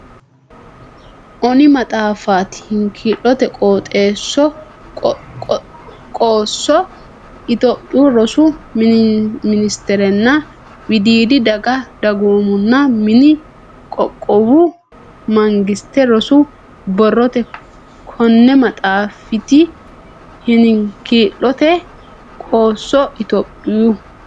onni maxaafiti hinkiilote qoosso Itophiyu Rosu Ministeretenna Wodiidi Daga Dagoominna Manni Qoqqowu Mangiste Rosu Biirote Konni maxaafiti hinkiilote qoosso Itophiyu.